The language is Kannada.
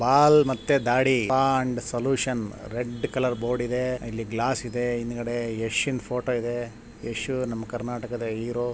ಬಾಲ್ ಮತ್ತೆ ದಾಡಿ and solution red colour board ಇದೆ ಇಲ್ಲಿ ಗ್ಲಾಸ್ ಇದೆ ಹಿದ್ಗಡೆ ಯಶಂದ ಫೋಟೋ ಇದೆ ಯಶ್ ನಮ್ಮ ಕರ್ನಾಟಕದ ಹೀರೋ .